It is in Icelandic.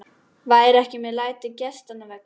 Vera ekki með læti gestanna vegna.